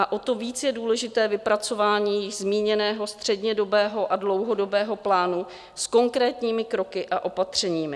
A o to víc je důležité vypracování již zmíněného střednědobého a dlouhodobého plánu s konkrétními kroky a opatřeními.